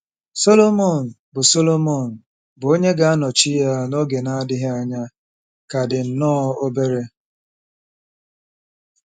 Sọlọmọn, bụ́ Sọlọmọn, bụ́ onye ga-anọchi ya n’oge na-adịghị anya, ka dị nnọọ obere.